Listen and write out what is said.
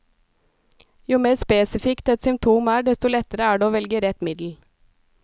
Jo mer spesifikt et symptom er, desto lettere er det å velge rett middel.